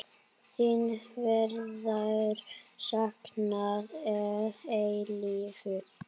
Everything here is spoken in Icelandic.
Þín verður saknað að eilífu.